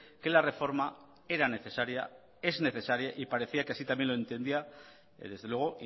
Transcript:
que la reforma era necesaria es necesaria y parecía que así también lo entendía desde luego